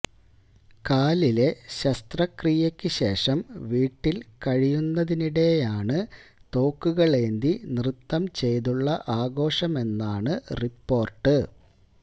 കാലിലെ ശസ്ത്രക്രിയയ്ക്കു ശേഷം വീട്ടില് കഴിയുന്നതിനിടെയാണ് തോക്കുകളേന്തി നൃത്തം ചെയ്തുള്ള ആഘോഷമെന്നാണു റിപോര്ട്ട്